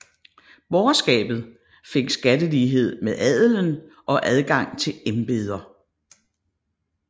Borgerskabet fik skattelighed med adelen og adgang til embeder